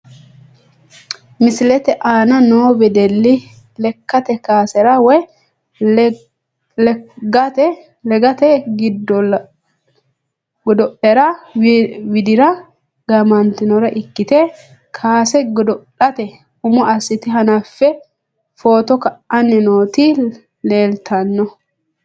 Misilete aana noo wedeli lekate kaasera woyi legate godo`lera widira gaamantanore ikite kaase godo`late umo asite hanafe footo ka`ani nooti leeltano.